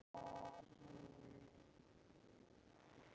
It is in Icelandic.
Hún virtist annars hugar.